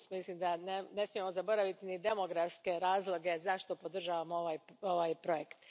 Mislim da ne smijemo zaboraviti ni demografske razloge zašto podržavamo ovaj projekt.